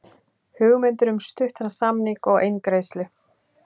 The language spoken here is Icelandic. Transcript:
Hugmyndir um stuttan samning og eingreiðslu